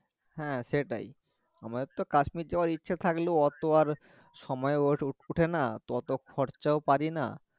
হ্যাঁ, সেটাই আমাদের তো কাশ্মির যাওয়ার ইচ্ছে থাকলেও ওতো আর সময় ও ওঠে না তো ওতো খরচাও পারিনা